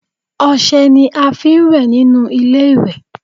Ọṣẹ ni a fi ń wẹ̀ nínú ilé-ìwẹ̀